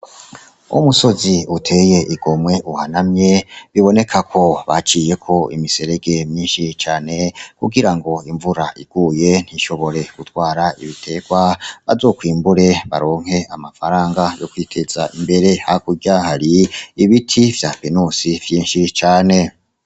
Umusozi uteye igomwe uhanamye, biboneka ko baciyeko imiserege myinshi cane kugira ngo imvura iguye ntishobore gutwara ibitegwa, bazokwimbure baronke amafaranga yo kwiteza imbere, hakurya hariyo ibiti vya tenosi vyinshi cane.